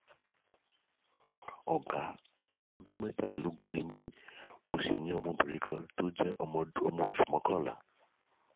ọ̀gá ọmọ ọdún mẹ́tàlélógún ni mí mí mo sì ní ọmọbìnrin kan tó jẹ́ ọmọ oṣù mọ́kànlá